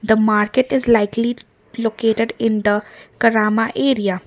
the market is likely located in the karama area.